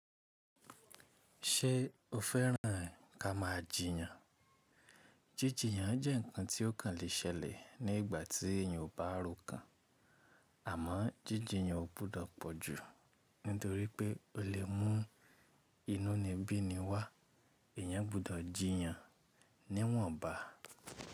Ṣé o fẹ́ràn ká máa jiyàn? Jíjijiyàn jẹ́ ǹkan tí ó kàn le ṣẹlẹ̀ ní ìgbà tí èèyàn ò bá rókàn, àmọ́ jíjiyàn ò gbudọ̀ pọ̀ jù, nítorí pé o lè mú inú ni bíni wá, èèyàn gbọdọ̀ jìyàn ní wọ̀nba.